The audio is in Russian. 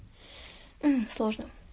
сложно